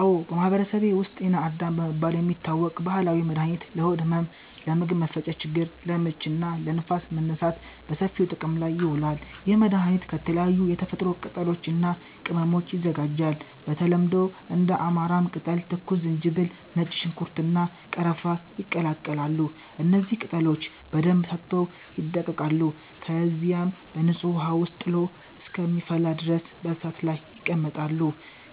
አዎ፣ በማህበረሰቤ ውስጥ “ጤና አዳም” በመባል የሚታወቅ ባህላዊ መድኃኒት ለሆድ ህመም፣ ለምግብ መፈጨት ችግር (ለምች) እና ለንፋስ መነሳት በሰፊው ጥቅም ላይ ይውላል። ይህ መድኃኒት ከተለያዩ የተፈጥሮ ቅጠሎች እና ቅመሞች ይዘጋጃል። በተለምዶ እንደ አማራም ቅጠል፣ ትኩስ ዝንጅብል፣ ነጭ ሽንኩርት፣ እና ቀረፋ ይቀላቀላሉ። እነዚህ ቅጠሎች በደንብ ታጥበው ይደቀቃሉ፣ ከዚያም በንጹህ ውሃ ውስጥ ጥሎ እስከሚፈላ ድረስ በእሳት ላይ ይቀመጣሉ።